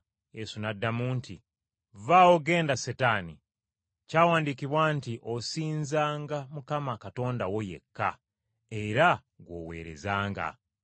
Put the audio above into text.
Yesu n’addamu nti, “Vvaawo, genda Setaani. Kyawandiikibwa nti, ‘Osinzanga Mukama Katonda wo yekka, era gw’oweerezanga.’ ”